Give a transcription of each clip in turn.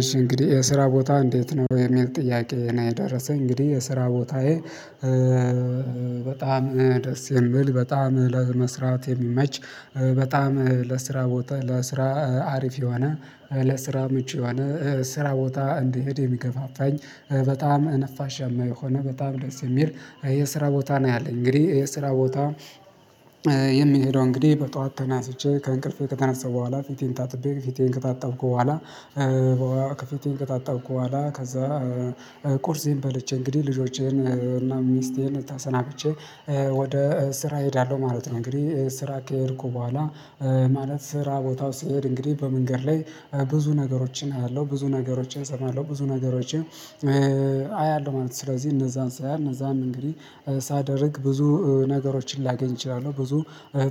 እሺ እንግዲህ የስራ ቦታ እንዴት ነው? የሚል ጥያቄ ነው የደረሰኝ እንግዲህ የስራ ቦታዬ በጣም ደስ የሚል በጣም ለመስራት የሚመች በጣም ለስራ ለስራ አሪፍ የሆነ ለስራ ምቹ የሆነ ስራ ቦታ እንድሄድ የሚገፋፋኝ በጣም ነፋሻ የሆነ በጣም ደስ የሚል የስራ ቦታ ነው ያለኝ እንግዲህ የስራ ቦታ የሚሄደው እንግዲህ በጧት ተናስቼ ከእንቅልፌ ከተነሳሁ በኋላ ፊቴን ታጥቤ ፊቴን ከታጣብኩ በኋላ ከፊቴን ከታጣብኩ በኋላ ከዛ ቁርሴን በልቼ እንግዲህ ልጆቼን እና ሚስቴን ተሰናብቼ ወደ ስራ እሄዳለሁ ማለት ነው እንግዲህ ስራ ከሄድኩ በኋላ ማለት ስራ ቦታው ስሄድ እንግዲህ በመንገድ ላይ ብዙ ነገሮችን አያለሁ ብዙ ነገሮችን እሰማለሁ ብዙ ነገሮችን አያለሁ ማለት ነው ስለዚህ እነዛን ሳይ እነዛን እንግዲህ ሳደርግ ብዙ ነገሮችን ላገኝ እችላለሁ ብዙ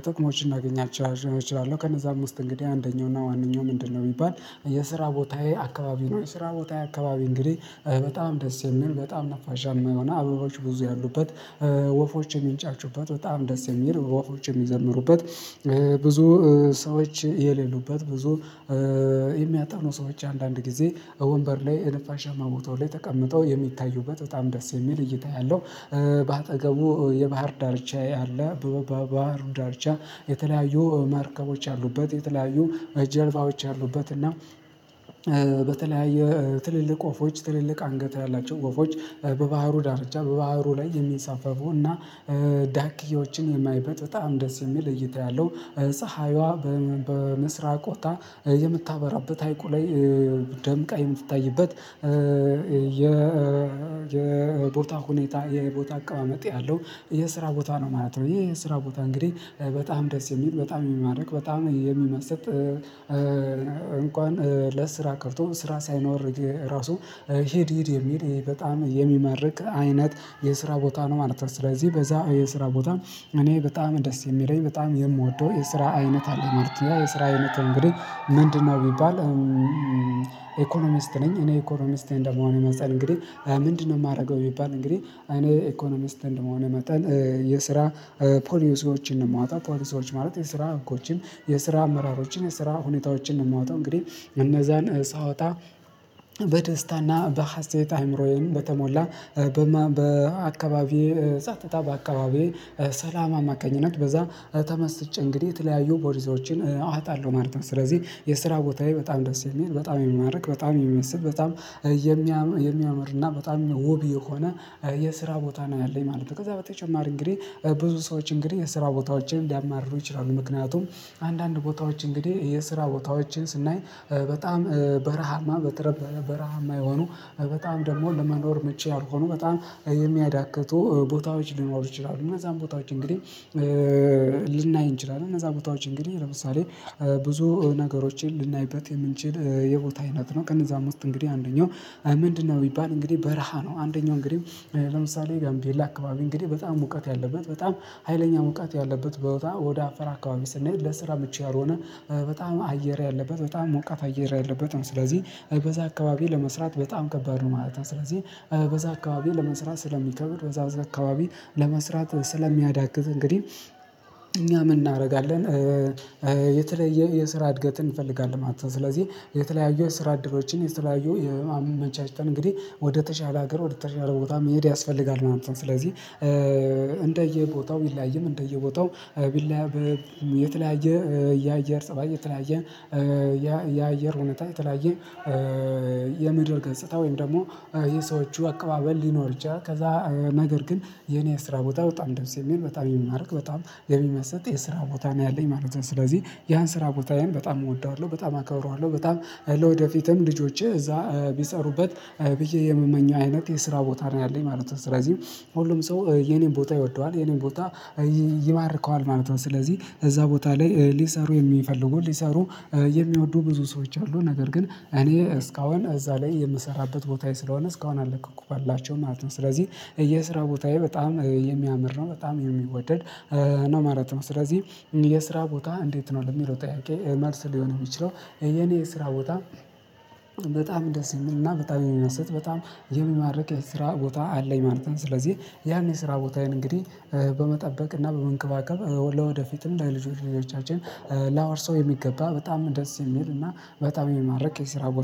ጥቅሞችን እናገኛቸዋለን እችላለሁ ከነዛም ውስጥ እንግዲህ አንደኛው እና ዋነኛው ምንድነው ቢባል የስራ ቦታዬ አካባቢ ነው የስራ ቦታዬ አካባቢ እንግዲህ በጣም ደስ የምን በጣም ነፋሻማ የሆነ አበባዎች ብዙ ያሉበት ወፎች የሚንጫጩበት በጣም ደስ የሚል ወፎች የሚዘምሩበት ብዙ ሰዎች የሌሉበት ብዙ የሚያጠኑ ሰዎች አንዳንድ ጊዜ ወንበር ላይ የንፋሻማ ቦታው ላይ ተቀምጠው የሚታዩበት በጣም ደስ የሚል እይታ ያለው በአጠገቡ የባህር ዳርቻ ያለ ባህሩ ዳርቻ የተለያዩ መርከቦች ያሉበት የተለያዩ ጀልባዎች ያሉበት እና በተለያየ ትልልቅ ወፎች ትልልቅ አንገት ያላቸው ወፎች በባህሩ ዳርቻ በባህሩ ላይ የሚንሳፈፉ እና ዳክዬዎችን የማይበት በጣም ደስ የሚል እይታ ያለው ፀሀይዋ በምስራቅ ወጥታ የምታበራበት ሀይቁ ላይ ደምቃ የምትታይበት የ ሁኔታ የቦታ አቀማመጥ ያለው የስራ ቦታ ነው ማለት ነው ይሄ የስራ ቦታ እንግዲህ በጣም ደስ የሚል በጣም የሚማርክ በጣም የሚመሰጥ እንኳን ለስራ ቀርቶ ስራ ሳይኖር ራሱ ሂድ ሂድ የሚል በጣም የሚማርክ አይነት የስራ ቦታ ነው ማለት ነው ስለዚህ በዛ የስራ ቦታ እኔ በጣም ደስ የሚለኝ በጣም የምወደው የስራ አይነት አለህ ማለት ነው የስራ አይነት እንግዲህ ምንድነው ቢባል ኢኮኖሚስት ነኝ እኔ ኢኮኖሚስት እንደመሆኔ መጸን እንግዲህ ምንድነው የማደርገው ቢባል እንግዲህ እኔ ኢኮኖሚስት እንደመሆኔ መጠን የስራ ፖሊሲዎችን ነው የማወጣ ፖሊሲዎች ማለት የስራ ህጎችን የስራ አመራሮችን የስራ ሁኔታዎችን ነው የማወጣው እንግዲህ እነዛን ሳወጣ በደስታና በሀሴት አይምሮዬን በተሞላ በአካባቢዬ ጸጦታ በአካባቢዬ ሰላም አማካኝነት በዛ ተመስጬ እንግዲህ የተለያዩ ፖሊሲዎችን አወጣለሁ ማለት ነው ስለዚህ የስራ ቦታዬ በጣም ደስ የሚል በጣም የሚማርክ በጣም የሚመስጥ በጣም የሚያምር እና በጣም የውብ የሆነ የስራ ቦታ ነው ያለኝ ማለት ነው ከዛ በተጨማሪ እንግዲህ ብዙ ሰዎች እንግዲህ የስራ ቦታዎችን ሊያማርሩ ይችላሉ ምክንያቱም አንዳንድ ቦታዎች እንግዲህ የስራ ቦታዎችን ስናይ በጣም በረሃማ በጣም በረሃማ የሆኑ በጣም ደግሞ ለመኖር ምቹ ያልሆኑ በጣም የሚያዳክቱ ቦታዎች ሊኖሩ ይችላሉ እና እነዚያን ቦታዎች እንግዲህ ልናይ እንችላለን እነዛ ቦታዎችን ግን ለምሳሌ ብዙ ነገሮችን ልናይበት የምንችል የቦታ አይነት ነው ከነዛም ውስጥ እንግዲህ አንደኛው ምንድነው ቢባል እንግዲህ በረሃ ነው አንደኛው እንግዲህ ለምሳሌ ጋርቤላ አካባቢ እንግዲህ በጣም ሙቀት ያለበት በጣም ሀይለኛ ሙቀት ያለበት ቦታ ወደ አፋራ አካባቢ ስንሄድ ለስራ ምቹ ያልሆነ በጣም አየር ያለበት በጣም ሞቃት አየር ያለበት ነው ስለዚህ በዛ አካባቢ ለመስራት በጣም ከባድ ነው ማለት ነው ስለዚህ በዛ አካባቢ ለመስራት ስለሚከብድ በዛ አካባቢ ለመስራት ስለሚያዳግት እንግዲህ እኛ ምን እናደርጋለን የተለየ የስራ እድገትን እንፈልጋለን ማለት ነው ስለዚህ የተለያየው ስራ አድሮችን የተለያዩ አመቻችተን እንግዲህ ወደተሻለ ሀገር ወደተሻለ ቦታ መሄድ ያስፈልጋል ማለት ነው ስለዚህ እንደየቦታው ቢለያይም እንደየቦታው የተለያየ የአየር ፀባይ የተለያየ የአየር ሁኔታ የተለያየ የምድር ገጽታ ወይም ደግሞ የሰዎቹ አቀባበል ሊኖር ይችላል ከዛ ነገር ግን የኔ ስራ ቦታ በጣም ደስ የሚል በጣም የሚማርክ በጣም የሚመስጥ የስራ ቦታ ነው ያለኝ ማለት ነው ስለዚህ ያን ስራ ቦታዬን በጣም እወደዋለሁ በጣም አከብረዋለሁ በጣም ለወደፊትም ልጆቼ እዛ ቢሰሩበት ብዬ የምመኘው አይነት የስራ ቦታ ነው ያለኝ ማለት ነው ስለዚህ ሁሉም ሰው የኔን ቦታ ይወደዋል የኔን ቦታ ይባርከዋል ማለት ነው ስለዚህ እዛ ቦታ ላይ ሊሰሩ የሚፈልጉ ሊሰሩ የሚወዱ ብዙ ሰዎች አሉ ነገር ግን እኔ እስካሁን እዛ ላይ የምሰራበት ቦታዬ ስለሆነ እስካሁን አልለቀቅሁላቸውም ማለት ነው ስለዚህ የስራ ቦታዬ በጣም የሚያምር ነው በጣም የሚወደድ ነው ማለት ነው ስለዚህ የስራ ቦታ እንዴት ነው ለሚለው ጥያቄ መልስ ሊሆን የሚችለው የኔ የስራ ቦታ በጣም ደስ የሚል እና በጣም የሚመስጥ በጣም የሚማርክ የስራ ቦታ አለኝ ማለት ነው ስለዚህ ያን የስራ ቦታዬን እንግዲህ በመጠበቅ እና በመንከባከብ ለወደፊትም ለልጅ ልጆቻችን ላወርሰው የሚገባ በጣም ደስ የሚል እና በጣም የሚማርክየስራ ቦታ